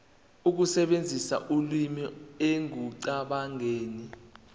ukusebenzisa ulimi ekucabangeni